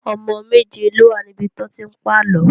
Ọmọ méje ló wà níbi tí wọ́n ti ń pàlọ́